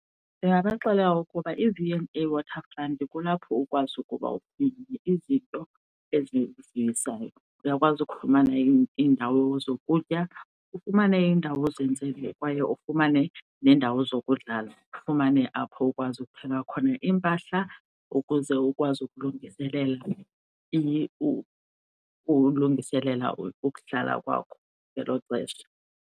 Ndingabaxelela ukuba iV and A Waterfront kulapho ukwazi ukuba izinto ezisivuyisayo. Uyakwazi ukufumana iindawo zokutya, ufumane indawo kwaye ufumane neendawo zokudlala, ufumane apho ukwazi ukuthenga khona iimpahla ukuze ukwazi ukulungiselela ukuhlala kwakho ngelo xesha.